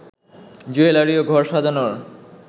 jewellery ও ঘর সাজানোর